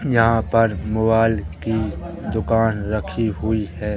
यहां पर मोबाइल की दुकान रखी हुई है।